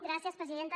gràcies presidenta